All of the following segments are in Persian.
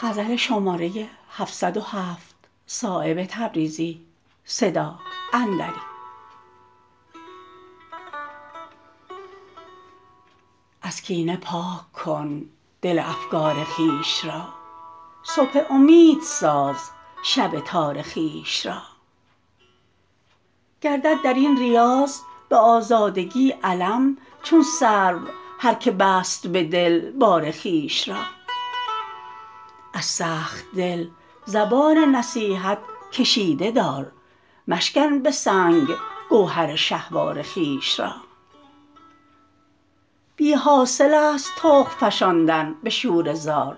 از کینه پاک کن دل افگار خویش را صبح امید ساز شب تار خویش را گردد درین ریاض به آزادگی علم چون سرو هر که بست به دل بار خویش را از سخت دل زبان نصیحت کشیده دار مشکن به سنگ گوهر شهوار خویش را بی حاصل است تخم فشاندن به شوره زار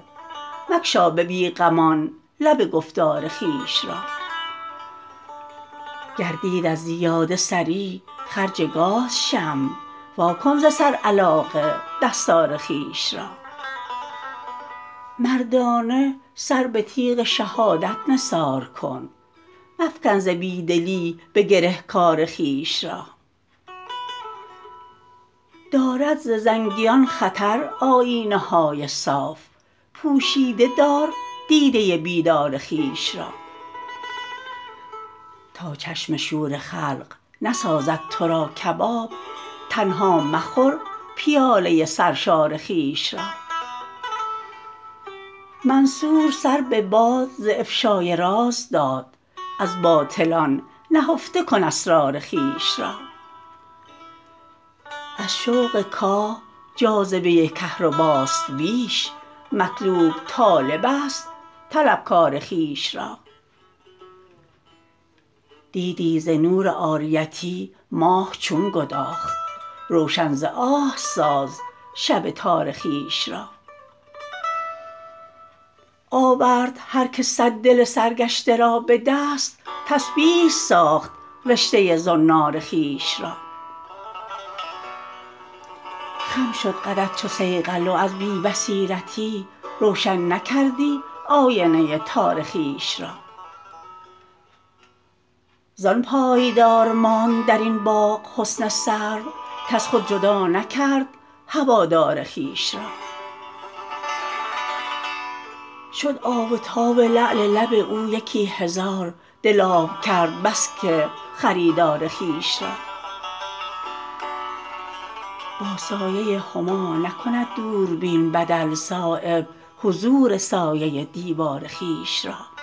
مگشا به بیغمان لب گفتار خویش را گردید از زیاده سری خرج گاز شمع واکن ز سر علاقه دستار خویش را مردانه سر به تیغ شهادت نثار کن مفکن ز بیدلی به گره کار خویش را دارد ز زنگیان خطر آیینه های صاف پوشیده دار دیده بیدار خویش را تا چشم شور خلق نسازد ترا کباب تنها مخور پیاله سرشار خویش را منصور سر به باد ز افشای راز داد از باطلان نهفته کن اسرار خویش را از شوق کاه جاذبه کهرباست بیش مطلوب طالب است طلبکار خویش را دیدی ز نور عاریتی ماه چون گداخت روشن ز آه ساز شب تار خویش را آورد هر که صد دل سرگشته را به دست تسبیح ساخت رشته زنار خویش را خم شد قدت چو صیقل و از بی بصیرتی روشن نکردی آینه تار خویش را زان پایدار ماند درین باغ حسن سرو کز خود جدا نکرد هوادار خویش را شد آب و تاب لعل لب او یکی هزار دل آب کرد بس که خریدار خویش را با سایه هما نکند دوربین بدل صایب حضور سایه دیوار خویش را